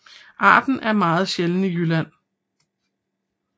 Arten er meget sjælden i Jylland